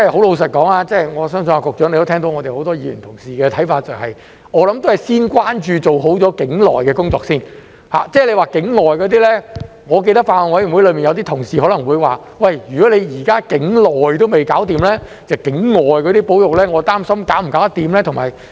老實說，我相信局長也聽到很多議員同事的看法，就是我想還是先關注和做好境內的工作，至於境外那些情況，我記得法案委員會有同事曾提到，既然現時境內的也搞不好，他們擔心境外那些保育是否能做好。